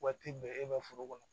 Waati bɛɛ e bɛ foro kɔnɔ